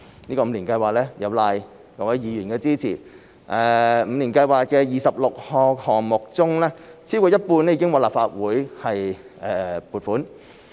有賴各位議員的支持，五年計劃的26個項目中，超過一半已獲立法會撥款。